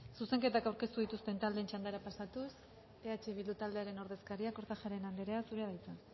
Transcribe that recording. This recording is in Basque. zuzenketak aurkeztu dituzten taldeen txandara pasatuz eh bildu taldearen ordezkaria kortajarena andrea zurea da hitza